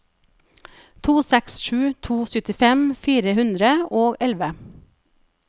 to seks sju to syttifem fire hundre og elleve